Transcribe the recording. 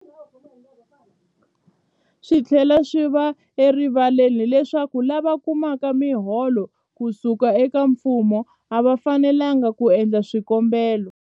Swi tlhela swi va erivaleni leswaku lava kumaka miholo ku suka eka mfumo a va fanelanga ku endla swikombelo.